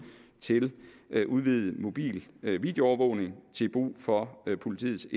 til udvidet mobil videoovervågning til brug for politiets